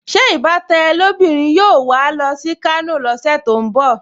Ṣé ìbátan ẹ lóbìnrin yóò wà á lọ sí Kano lọ́sẹ̀ tó ń bọ̀?